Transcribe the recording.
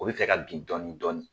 O bɛ fɛ ka bin dɔɔni dɔɔni.